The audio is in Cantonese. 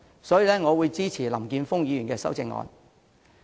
所以，我會支持林議員的修正案。